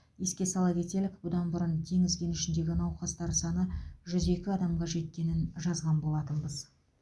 еске сала кетелік бұдан бұрын теңіз кенішіндегі науқастар саны жүз екі адамға жеткенін жазған болатынбыз